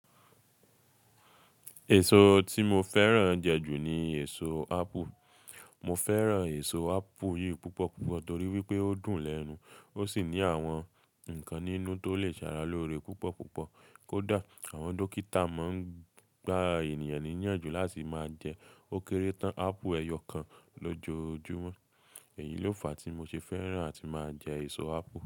Èso tí mo fẹ́ràn jẹ jù ni èso ápù. Mo fẹ́ràn èso ápù yìí púpọ̀ púpọ̀ torí wípé ó dùn lẹ́nu, ó sì ní àwọn ǹkan ninú tó lè ṣe ara lóore púpọ̀ púpọ̀. Kódà àwọn dókítà máa ń gba ènìyàn níyànjú láti máa jẹ ó kéré tán ápù ẹyọ kan lójoojúmọ́. Èyí ló fa tí mo ṣe fẹ́ràn àti máa jẹ èso ápù.